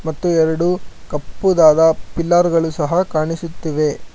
ಮತ್ತು ಎರಡು ಕಪ್ಪು ದಾದ ಪಿಲ್ಲರ್ ಗಳು ಕಾಣಿಸುತ್ತಿದೆ.